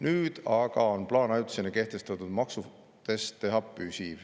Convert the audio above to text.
Nüüd on aga plaan ajutisena kehtestatud maksust teha püsiv.